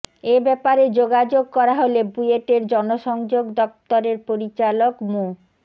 এ ব্যাপারে যোগাযোগ করা হলে বুয়েটের জনসংযোগ দফতরের পরিচালক মো